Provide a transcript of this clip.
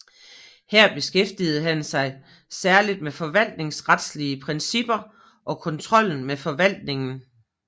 Her beskæftigede han sig særligt med forvaltningsretlige principper og kontrollen med forvaltningen